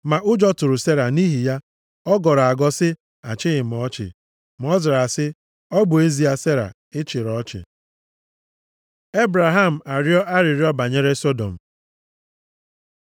Ma ụjọ tụrụ Sera. Nʼihi ya, ọ gọrọ agọ sị, “Achịghị m ọchị.” Ma Ọ zara sị, “Ọ bụ ezie, Sera, ị chịrị ọchị.” Ebraham arịọ arịrịọ banyere Sọdọm